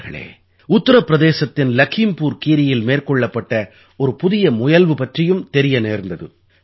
நண்பர்களே உத்திரப் பிரதேசத்தின் லகீம்புர் கீரீயில் மேற்கொள்ளப்பட்ட ஒரு புதிய முயல்வு பற்றியும் தெரிய நேர்ந்தது